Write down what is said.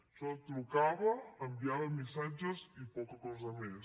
això trucava enviava missatges i poca cosa més